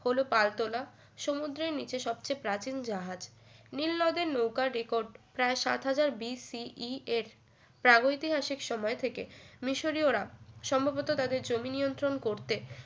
হল পাল তোলা সমুদ্রের নিচে সবচেয়ে প্রাচীন জাহাজ নীলনদের নৌকার রেকর্ড প্রায় সাত হাজার BCES প্রাগৈতিহাসিক সময় থেকে মিশরী ওরা সম্ভবত তাদের জমি নিয়ন্ত্রণ করতে